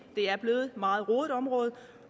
er blevet et meget rodet område